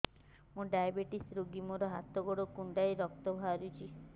ମୁ ଡାଏବେଟିସ ରୋଗୀ ମୋର ହାତ ଗୋଡ଼ କୁଣ୍ଡାଇ ରକ୍ତ ବାହାରୁଚି